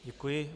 Děkuji.